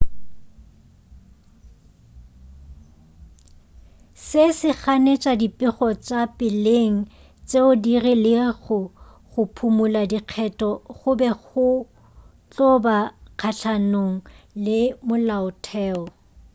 se se ganetša dipego tša peleng tšeo di rilego go phumula dikgetho go be go tlo ba kgahlanong le molaotheo